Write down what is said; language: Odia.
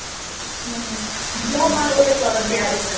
ହୁଁ ହୁଁ ମୋ ମାଆ ଗୋଟେ କରନ୍ତି ଆରିସା